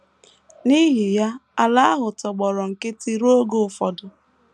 N’ihi ya, ala ahụ tọgbọrọ nkịtị ruo oge ụfọdụ.